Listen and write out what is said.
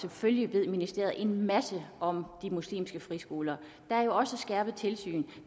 selvfølgelig ved ministeriet en masse om de muslimske friskoler der er jo også skærpet tilsyn